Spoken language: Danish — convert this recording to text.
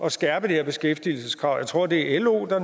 at skærpe det her beskæftigelseskrav er jeg tror at det er lo eller